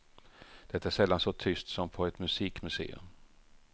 Det är sällan så tyst som på ett musikmuseum.